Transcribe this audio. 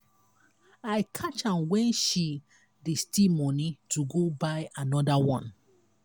i catch am wen she dey steal money to go buy another one.